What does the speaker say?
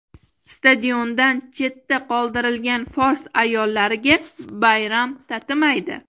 Stadiondan chetda qoldirilgan fors ayollariga bayram tatimaydi.